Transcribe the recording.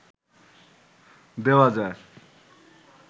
দেওয়া যায়